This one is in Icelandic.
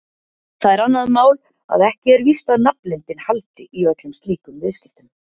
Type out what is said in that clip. Það er annað mál að ekki er víst að nafnleyndin haldi í öllum slíkum viðskiptum.